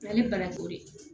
Ale bara o de ye